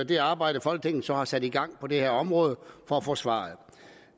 det arbejde folketinget så har sat i gang på det her område for at få svaret